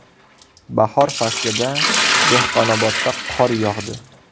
Bahor faslida Dehqonobodda qor yog‘di.